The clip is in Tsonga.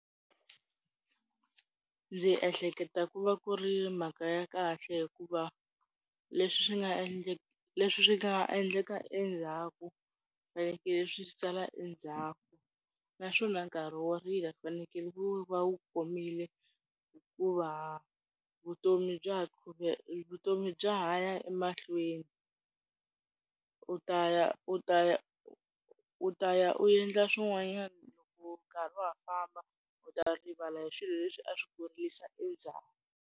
Ndzi ehleketa ku va ku ri mhaka ya kahle hikuva, leswi swi nga endleka leswi swi nga endleka endzhaku swi fanekele swi sala endzhaku. Naswona nkarhi wo rila wu fanekele ku va wu komile hikuva vutomi bya vutomi bya ha ya emahlweni. U ta ya u ta ya u ta ya u endla swin'wanyana loko nkarhi wa ha famba u ta rivala hi swilo leswi a swi ku rilisa endzhaku.